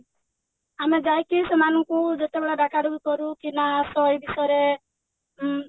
ଆମେ ଯାଇକି ସେମାନଙ୍କୁ ଯେତେବେଳେ ଡାକାଡାକି କରୁ କି ନା ଆସ ଏଇ ବିଷୟରେ ଉଁ